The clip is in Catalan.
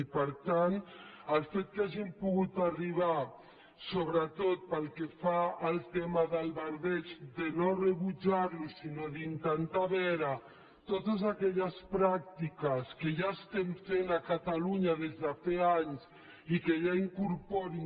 i per tant el fet que hàgim pogut arribar sobretot pel que fa al tema del verdeig a no rebutjar lo sinó a intentar veure totes aquelles pràctiques que ja estem fent a catalunya des de feia anys i que ja incorporin